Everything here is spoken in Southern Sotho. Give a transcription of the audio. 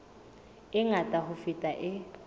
e ngata ho feta e